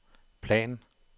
plan